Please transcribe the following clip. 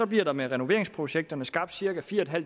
bliver der med renoveringsprojekterne skabt cirka fire